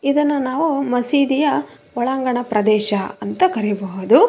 ಇದನ್ನು ನಾವು ಮಸೀದಿಯ ಒಳಾಂಗಣ ಪ್ರದೇಶ ಅಂತ ಕರೀಬಹುದು.